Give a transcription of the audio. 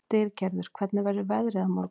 Styrgerður, hvernig verður veðrið á morgun?